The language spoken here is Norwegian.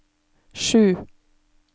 sju